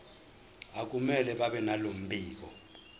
akumele babenalo mbiko